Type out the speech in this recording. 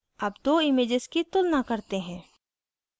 अब दो images की तुलना करते हैं